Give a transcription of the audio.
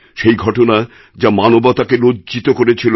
সেই ঘটনা যা মানবতাকে লজ্জিত করেছিল